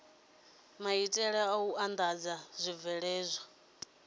maitele a u andadza zwibveledzwa